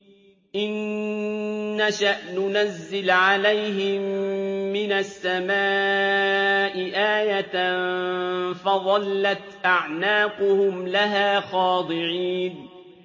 إِن نَّشَأْ نُنَزِّلْ عَلَيْهِم مِّنَ السَّمَاءِ آيَةً فَظَلَّتْ أَعْنَاقُهُمْ لَهَا خَاضِعِينَ